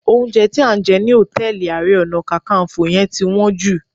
Oúnjẹ tí a jẹ ní hòtẹ́ẹ̀lì Ààrẹ Ọ̀nà Kakaǹfò yẹn ti wọ́n jù